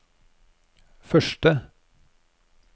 første